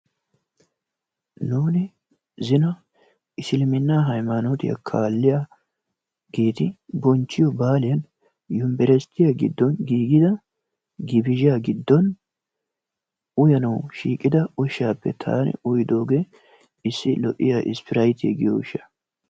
Nuuni zino isiliminnaa haymanotiyaa kalliyaageti bonchchiyoo baaliyaan yunbersttiyaa giddon giigida gibizhaa giddon uyanawu shiiqida ushshaappe taani uyidoogee issi lo"iyaa ispiraytiyaa giyoo ushshaa.